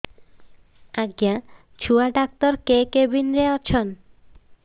ଆଜ୍ଞା ଛୁଆ ଡାକ୍ତର କେ କେବିନ୍ ରେ ଅଛନ୍